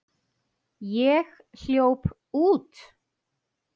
Ég hljóp út.